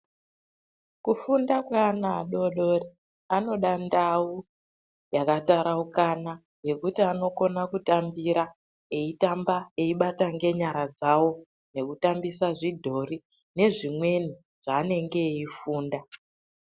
Kufunda kweana adori dori anoda ndau yakataraukana yekuti anokona kutambira eitamba eibata ngenyara dzawo nekutambisa zvidhori nezvimweni zvaanenge eifunda.